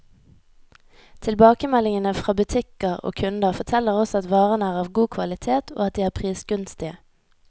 Tilbakemeldingene fra butikker og kunder, forteller oss at varene er av god kvalitet, og at de er prisgunstige.